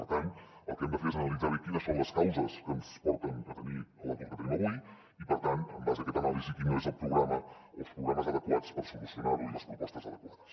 per tant el que hem de fer és analitzar bé quines són les causes que ens porten a tenir l’atur que tenim avui i per tant en base a aquesta anàlisi quin és el programa o els programes adequats per solucionar·ho i les propostes adequades